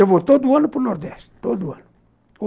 Eu vou todo ano para o Nordeste, todo ano.